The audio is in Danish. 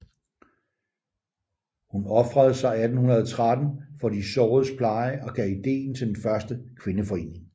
Hun ofrede sig 1813 for de såredes pleje og gav ideen til den første kvindeforening